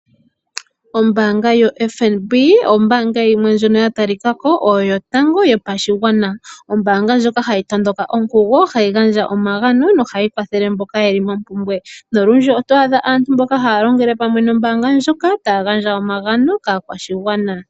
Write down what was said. Ombaanga yoFNB ombaanga yimwe ndjono ya talika ko oyo yotango yopashigwana. Ombaanga ndjoka hayi tondo ka onkugo nohayi gandja omagano nohayi kwathele mboka ye li mompumbwe nolundji oto adha aantu mboka haya longele pamwe nombaanga ndjoka taya gandja omagano kaakwashigwana.